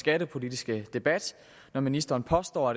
skattepolitiske debat når ministeren påstår